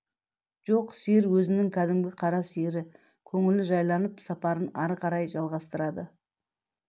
жоқ сиыр өзінің кәдімгі қара сиыры көңіл жайланып сапарын ары қарай жалғастырады